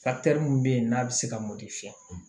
mun be yen n'a bi se ka mɔdi fiyɛ